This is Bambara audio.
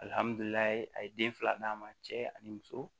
Alihamdullilaye a ye den fila d'a ma cɛ ani muso